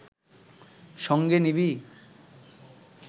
সঙ্গে নিবি